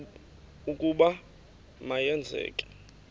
ukuba ma yenzeke